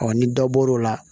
ni dɔ bɔr'o la